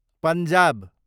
Punjab